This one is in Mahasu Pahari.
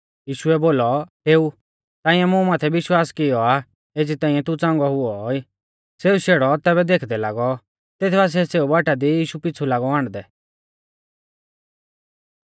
यीशुऐ बोलौ डेउ ताइंऐ मुं माथै विश्वास कियौ आ एज़ी ताइंऐ तू च़ांगौ हुऔ ई सेऊ शेड़ौ तेबी देखदै लागौ तेथ बासिऐ सेऊ बाटा दी यीशु पीछ़ु लागौ आण्डदै